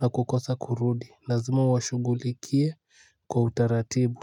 na kukosa kurudi. Lazima uwashugulikie kwa utaratibu.